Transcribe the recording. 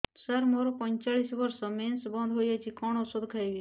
ସାର ମୋର ପଞ୍ଚଚାଳିଶି ବର୍ଷ ମେନ୍ସେସ ବନ୍ଦ ହେଇଯାଇଛି କଣ ଓଷଦ ଖାଇବି